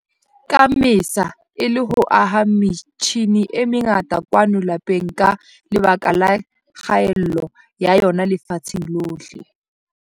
ka Mmesa, e le ho aha metjhine e mengata kwano lapeng ka lebaka la kgaello ya yona lefatsheng lohle.